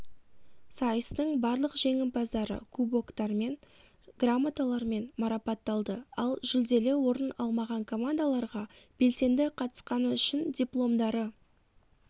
сайыстың барлық жеңімпаздары кубоктар және грамоталармен марапатталды ал жүлделі орын алмаған командаларға белсенді қатысқаны үшін дипломдары